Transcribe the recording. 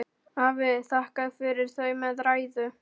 Það er einhver að banka, sagði pabbi.